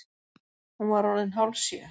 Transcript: Hún var orðin hálfsjö.